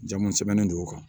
Jama sɛbɛnnen don o kan